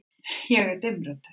Ég er dimmrödduð.